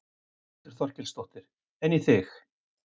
Þórhildur Þorkelsdóttir: En í þig?